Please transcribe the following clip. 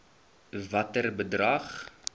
watter bedrag